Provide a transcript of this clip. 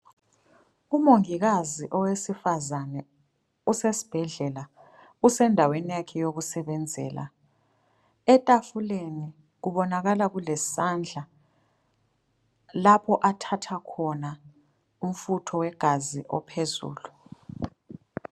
Umongikazi owesifazana osesibhedlela usendaweni yakhe yokusebenzela, etafuleni kubonakala kulesandla lapho athatha khona umfutho wegazi ophezulu.